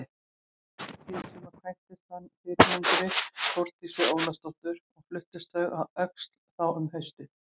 Síðsumars kvæntist hann fyrrnefndri Þórdísi Ólafsdóttur og fluttust þau að Öxl þá um haustið.